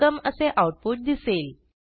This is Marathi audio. वेलकम असे आऊटपुट दिसेल